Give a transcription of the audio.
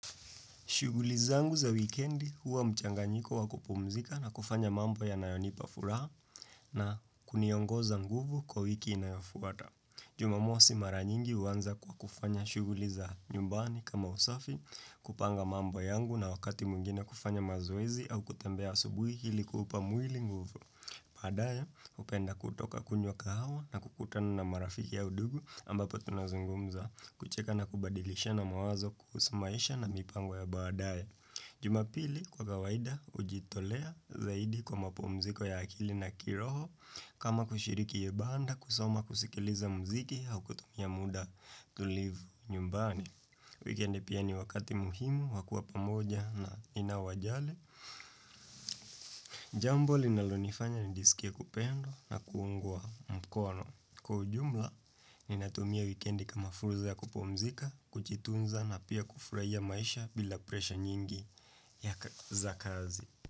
Shughuli zangu za wikendi huwa mchanganyiko wa kupumzika na kufanya mambo yanayonipa furaha na kuniongoza nguvu kwa wiki inayofuata. Jumamosi mara nyingi huanza kwa kufanya shughuli za nyumbani kama usafi kupanga mambo yangu na wakati mwingine kufanya mazoezi au kutembea asubuhi ilikuupa mwili nguvu. Baadaye hupenda kutoka kunywa kahawa na kukutana na marafiki au ndugu ambapo tunazungumza kucheka na kubadilishana mawazo kuhusu maisha na mipango ya baadaye. Jumapili kwa kawaida hujitolea zaidi kwa mapumziko ya akili na kiroho kama kushiriki ibada kusoma kusikiliza muziki au kutumia muda tulivu nyumbani. Wikendi pia ni wakati muhimu, wa kuwa pamoja na ninaowajali Jambo linalonifanya nijisikie kupendwa na kuungwa mkono kwa ujumla, ninatumia wikendi kama fursa ya kupumzika, kujitunza na pia kufurahia maisha bila presha nyingi ya za kazi.